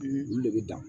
Olu de bɛ dan